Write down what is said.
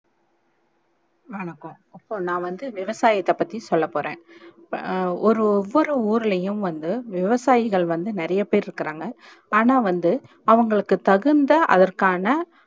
வணக்கம் இப்போ நான் வந்து விவசாயத்தே பத்தி சொல்ல போறேன் இப்போ ஒரு ஓவ்வொரு ஊரளையும் வந்து விவசாயிகள் வந்து நிறைய பேர் இருக்குறாங்க ஆனா வந்து அவுங்களுக்கு தகுந்த அதற்க்கான